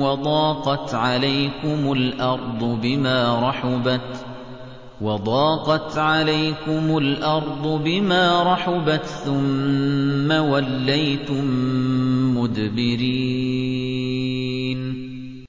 وَضَاقَتْ عَلَيْكُمُ الْأَرْضُ بِمَا رَحُبَتْ ثُمَّ وَلَّيْتُم مُّدْبِرِينَ